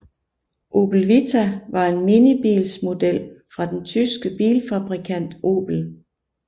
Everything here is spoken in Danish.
Opel Vita var en minibilsmodel fra den tyske bilfabrikant Opel